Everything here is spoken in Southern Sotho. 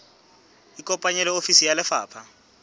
ikopanye le ofisi ya lefapha